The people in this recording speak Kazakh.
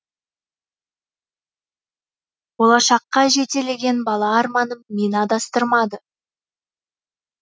болашаққа жетелеген бала арманым мені адастырмады